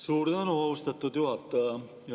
Suur tänu, austatud juhataja!